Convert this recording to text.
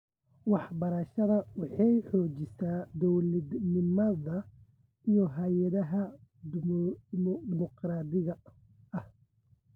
Waxbarashada waxay xoojisaa dowladnimada iyo hay'adaha dimuqraadiga ah.